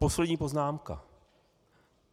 Poslední poznámka.